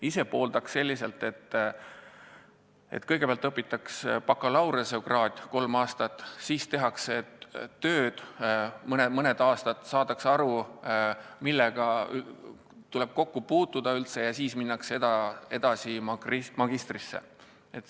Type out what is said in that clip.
Ise ma pooldan sellist süsteemi, et kõigepealt omandatakse bakalaureusekraad kolme aastaga, siis tehakse mõni aasta tööd – saadakse aru, millega tuleb üldse kokku puutuda – ja seejärel minnakse edasi magistrisse.